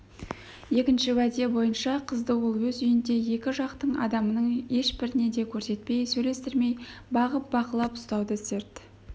екінші уәде бойынша қызды ол өз үйінде екі жақтың адамының ешбіріне де көрсетпей сөйлестірмей бағып бақылап ұстауды серт